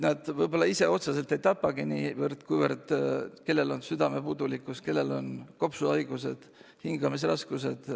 Nad võib-olla ise otseselt ei tapagi niivõrd, kuivõrd on südamepuudulikkus, kopsuhaigused, hingamisraskused.